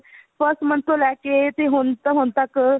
first month ਤੋਂ ਲੈਕੇ ਤੇ ਹੁਣ ਤੱਕ